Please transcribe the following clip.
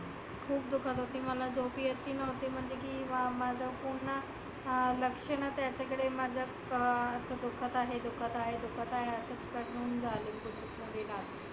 खुप दुखत होती मला झोप येत बी नव्हती. म्हणजे की माझ पुर्ण अं लक्ष नव्हतं माझा कडे अं दुखत राहीलं दुखत राहीलं असं करुण झाली सगळी रात्र.